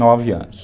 Nove anos.